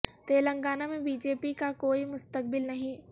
تلنگانہ میں B J P کا کوئی مستقبل نہیں